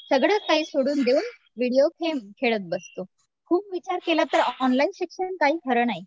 सगळं काही सोडून देऊन व्हिडिओ गेम खेळत बसतो. खूप विचार केलं तर ऑनलाईन शिक्षण काही खरं नाही.